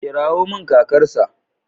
Kirawo min kakarsa.